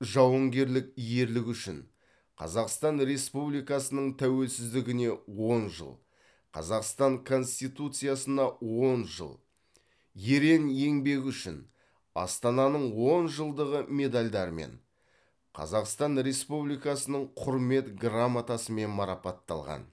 жауынгерлік ерлігі үшін қазақстан республикасының тәуелсіздігіне он жыл қазақстан конституциясына он жыл ерен еңбегі үшін астананың он жылдығы медальдарымен қазақстан республикасының құрмет грамотасымен марапатталған